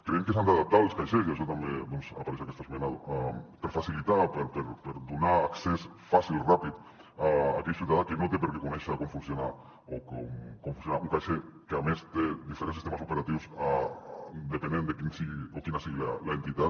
creiem que s’han d’adaptar els caixers i això també doncs apareix a aquesta esmena per facilitar per donar accés fàcil i ràpid a aquell ciutadà que no té per què conèixer com funciona un caixer que a més té diferents sistemes operatius depenent de quina sigui l’entitat